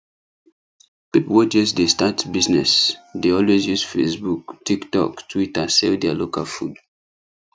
people wey just dey start business dey always use facebook tiktok twitter sell their local food